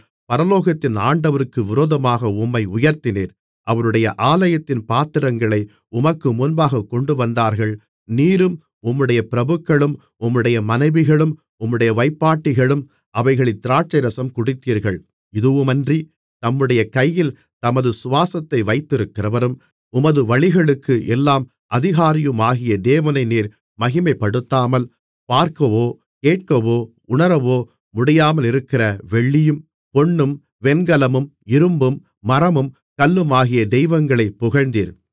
பரலோகத்தின் ஆண்டவருக்கு விரோதமாக உம்மை உயர்த்தினீர் அவருடைய ஆலயத்தின் பாத்திரங்களை உமக்கு முன்பாகக் கொண்டுவந்தார்கள் நீரும் உம்முடைய பிரபுக்களும் உம்முடைய மனைவிகளும் உம்முடைய வைப்பாட்டிகளும் அவைகளில் திராட்சைரசம் குடித்தீர்கள் இதுவுமன்றி தம்முடைய கையில் தமது சுவாசத்தை வைத்திருக்கிறவரும் உமது வழிகளுக்கு எல்லாம் அதிகாரியுமாகிய தேவனை நீர் மகிமைப்படுத்தாமல் பார்க்கவோ கேட்கவோ உணரவோ முடியாமலிருக்கிற வெள்ளியும் பொன்னும் வெண்கலமும் இரும்பும் மரமும் கல்லுமாகிய தெய்வங்களைப் புகழ்ந்தீர்